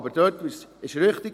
Aber dort ist es richtig: